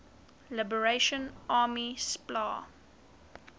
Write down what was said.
liberation army spla